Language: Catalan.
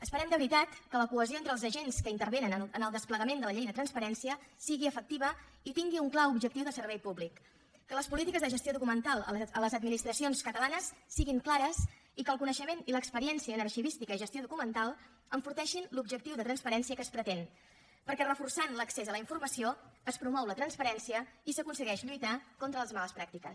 esperem de veritat que la cohesió entre els agents que intervenen en el desplegament de la llei de transparència sigui efectiva i tingui un clar objectiu de servei públic que les polítiques de gestió documental a les administracions catalanes siguin clares i que el coneixement i l’experiència en arxivística i gestió documental enforteixin l’objectiu de transparència que es pretén perquè reforçant l’accés a la informació es promou la transparència i s’aconsegueix lluitar contra les males pràctiques